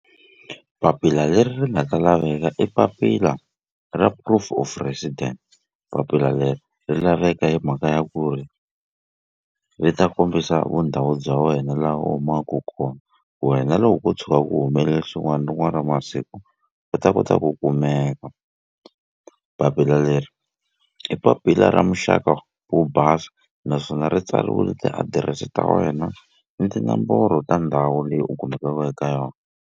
Papila leri ri nga ta laveka i papila ra proof of resident papila leri ri laveka hi mhaka ya ku ri ri ta kombisa vundhawu bya wena laha u humaku kona wena loko ko tshuka ku humelele swin'wana rin'wana ra masiku u ta kota ku kumeka papila leri i papila ra muxaka wo basa naswona ri tsariwile tiadirese ta wena ni tinomboro ta ndhawu leyi u kumekaku eka yona.